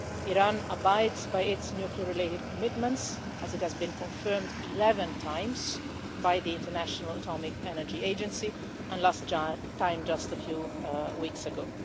Iran abides by its nuclear related commitments, as has been confirmed 11 times by the International Atomic Energy Agency the last time was just a few weeks ago.